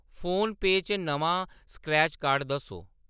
फोनपेऽ च नमां scratch card दस्सो।